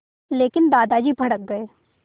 लेकिन दादाजी भड़क गए